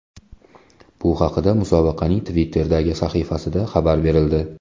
Bu haqida musobaqaning Twitter’dagi sahifasida xabar berildi .